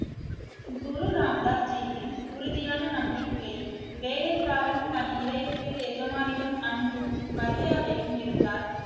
குரு ராம் தாஸ் ஜியின் உறுதியான நம்பிக்கை வேலைக்காரன் தன் இதயத்தில் எஜமானிடம் அன்பும் மரியாதையும் இருந்தால்